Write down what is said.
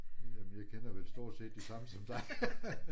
Jamen jeg kender vel stort set de samme som dig